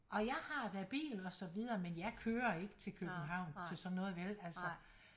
Og jeg har da bil og så videre men jeg kører ikke til københavn til sådan noget vel altså